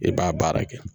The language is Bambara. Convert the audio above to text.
I b'a baara kɛ